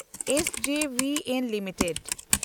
SJVN limited